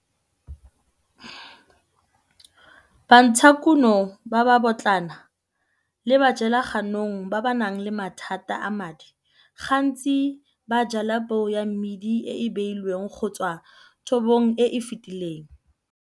Bantshakuno ba babotlana le bajelaganong ba ba nang le mathata a madi, gantsi ba jala peo ya mmidi e e beilweng go tswa thobong e e fetileng.